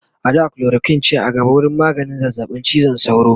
a da chloroquine ce a gaba wurin maganin zazzaɓin cizon sauro